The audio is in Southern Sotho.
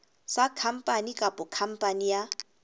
sa khampani kapa khampani ya